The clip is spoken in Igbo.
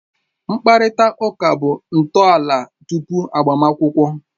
Mkparịta ụka bụ ntọala tupu agbamakwụkwọ